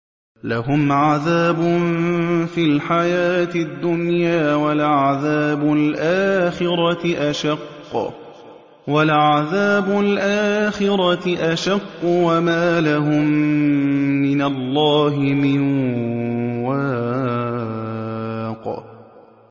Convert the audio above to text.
لَّهُمْ عَذَابٌ فِي الْحَيَاةِ الدُّنْيَا ۖ وَلَعَذَابُ الْآخِرَةِ أَشَقُّ ۖ وَمَا لَهُم مِّنَ اللَّهِ مِن وَاقٍ